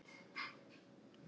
hörmungar stríðsins